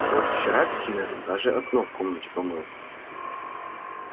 вот вчера к примеру даже окно в комнате помыл